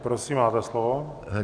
Prosím, máte slovo.